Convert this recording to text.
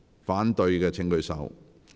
反對的請舉手。